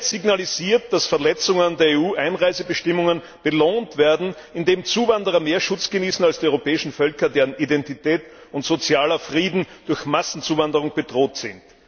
Da wird signalisiert, dass Verletzungen der EU Einreisebestimmungen belohnt werden, indem Zuwanderer mehr Schutz genießen als die europäischen Völker, deren Identität und sozialer Frieden durch Massenzuwanderung bedroht sind.